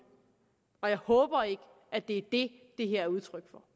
og jeg håber ikke at det er det det her er udtryk for